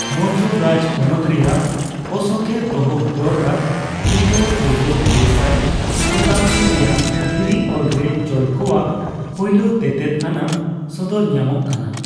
ᱢᱳᱨᱡᱳ ᱨᱟᱡᱽᱯᱚᱱᱚᱛ ᱨᱮᱭᱟᱜ ᱚᱥᱳᱠᱮ ᱫᱚᱦᱚ ᱦᱚᱴᱚ ᱟᱠᱟᱫ ᱠᱷᱨᱤᱥᱴᱚᱯᱩᱨᱵᱚ ᱯᱮ ᱥᱟᱨ ᱥᱚᱛᱟᱵᱽᱫᱤ ᱨᱮᱭᱟᱜ ᱫᱷᱤᱨᱤ ᱚᱞ ᱨᱮ ᱪᱳᱞ ᱠᱚᱣᱟᱜ ᱯᱳᱭᱞᱳ ᱛᱮᱛᱮᱫ ᱟᱱᱟᱜ ᱥᱚᱫᱚᱨ ᱧᱟᱢᱚᱜ ᱠᱟᱱᱟ ᱾